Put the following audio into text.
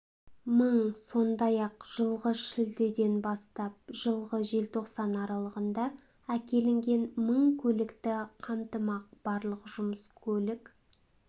мың сондай-ақ жылғы шілдеден бастап жылғы желтоқсан аралығында әкелінген мың көлікті қамтымақ барлық жұмыс көлік